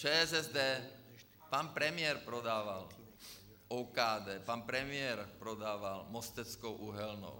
ČSSD, pan premiér prodával OKD, pan premiér prodával Mosteckou uhelnou.